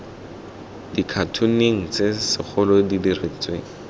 dikhatoneng tse segolo di diretsweng